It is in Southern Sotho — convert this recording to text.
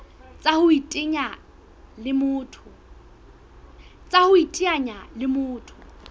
tsa ho iteanya le motho